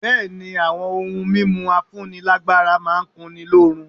Bẹ̀ẹ́ni, àwọn ohun mímu afúnílágbára máà ń kunni lóorun.